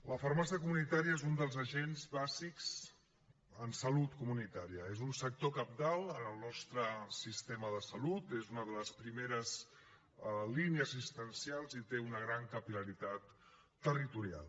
la farmàcia comunitària és un dels agents bàsics en salut comunitària és un sector cabdal en el nostre sistema de salut és una de les primeres línies assistencials i té una gran capil·laritat territorial